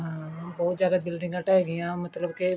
ਹਮ ਬਹੁਤ ਜਿਆਦਾ ਬਿਲਡਿੰਗਾ ਟੇਹ ਗਈਆਂ ਮਤਲਬ ਕੇ